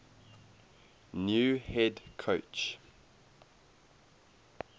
new head coach